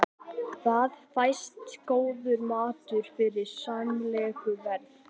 Þar fæst góður matur við sæmilegu verði.